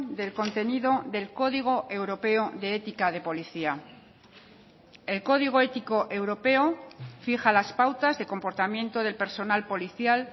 del contenido del código europeo de ética de policía el código ético europeo fija las pautas de comportamiento del personal policial